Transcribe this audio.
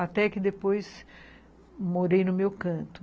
até que depois morei no meu canto.